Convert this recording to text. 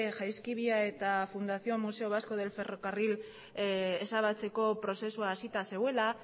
jaizkibia eta fundación museo vasco del ferrocarril ezabatzeko prozesua hasita zegoela